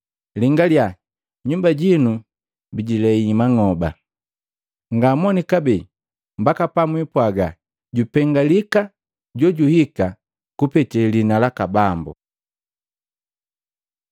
Lingalilya! Nyumba jinu bijilei lihame. Ngammoni kabee mbaka pamwipwaga, ‘Jupengalika jojuhika kupete lihina laka Bambo.’ ”